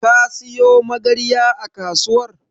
Ka siyo Magarya a kasuwar?